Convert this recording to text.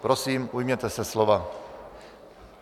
Prosím, ujměte se slova.